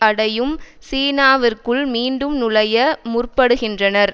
அடையும் சீனாவிற்குள் மீண்டும் நுழைய முற்படுகின்றனர்